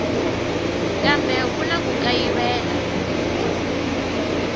kambe ku na ku kayivela